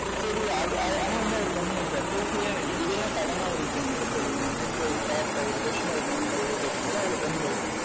சரி அது ஆ ஆனா வந்து அவர் கம்முனு இருக்காரு ஏன் இதை ஏன் sudden ஆ அவர் இப்ப என்கிட்ட சொல்லணும் அப்படின்ற ஒரு thought ல ஒரு question அவர் mind ல ஓடறதுனால அவர் கம்முனு இருக்காரு